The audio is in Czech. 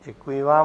Děkuji vám.